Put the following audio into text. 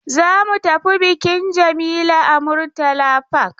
Za mu tafi bikin Jamila a Murtala Park.